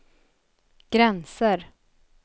gränser